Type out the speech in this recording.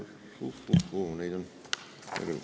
Uh-uh-huu, neid on palju.